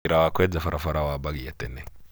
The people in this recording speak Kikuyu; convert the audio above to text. Wĩra ka kwenja barabara waabagia tene.